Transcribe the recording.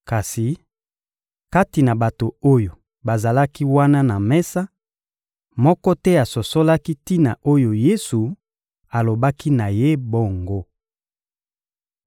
Kasi, kati na bato oyo bazalaki wana na mesa, moko te asosolaki tina oyo Yesu alobaki na ye bongo.